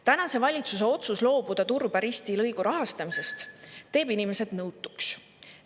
Tänase valitsuse otsus loobuda Turba-Risti lõigu rahastamisest teeb inimesed nõutuks.